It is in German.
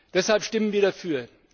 Deshalb stimmen wir dafür.